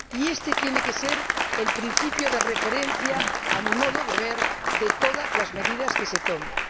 Éste tiene que ser el principio de referencia, a mi modo de ver, de todas las medidas que se tomen.